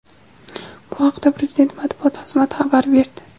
Bu haqda Prezidenti matbuot xizmati xabar berdi .